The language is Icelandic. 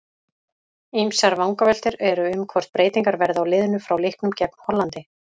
Ýmsar vangaveltur eru um hvort breytingar verði á liðinu frá leiknum gegn Hollandi.